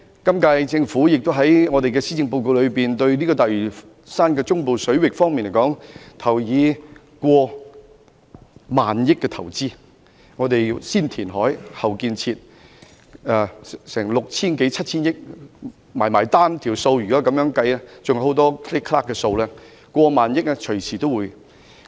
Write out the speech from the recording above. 今屆政府在施政報告中提出在大嶼山中部水域作過萬億元的投資，會先填海，後建設，涉及的款額接近 6,000 億元至 7,000 億元；再加上其他開支，最終的開支將會超過1萬億元。